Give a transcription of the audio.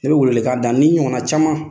Ne bɛ welewelekan da n ni ɲɔgɔnna caman.